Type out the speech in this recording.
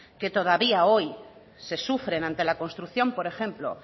que todavía hoy se sufren ante la construcción por ejemplo